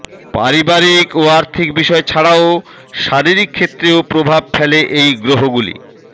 পারিবারিক ও আর্থিক বিষয় ছাড়াও শারীরিক ক্ষেত্রেও প্রভাব ফেলে এই গ্রহগুলি